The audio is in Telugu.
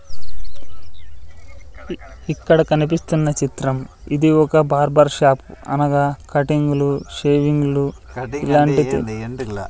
ఇక్కడ కనిపిస్తున్న చిత్రం ఇది ఒక బార్బర్ షాప్ అనగా కటింగ్లు షేవింగ్లు ఇలాంటివి.